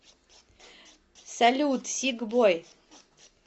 салют сик бой